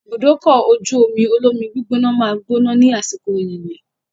Ibùdókọ̀-ojú-omi olómi gbígbóná máa gbóná ní àsìkò yìnyín.